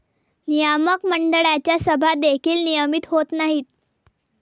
नियामक मंडळाच्या सभा देखील नियमित होत नाहीत.